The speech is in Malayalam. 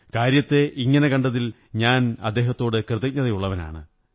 കാര്യത്തെ ഇങ്ങനെ കണ്ടതിൽ ഞാൻ അദ്ദേഹത്തോടു കൃതജ്ഞതയുള്ളവനാണ്